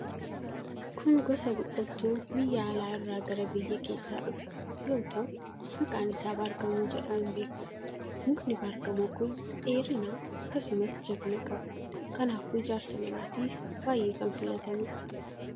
Kun gosa biqiltuu biyya alaa irraa gara biyya keessaa dhufe yoo ta'u, maqaan isaa baargamoo jedhamuun beekama. Mukni baargamoo kun dheerina, akkasumas jabina qaba. Kanaafuu ijaarsa manaatiif baay'ee kan filatamuudha.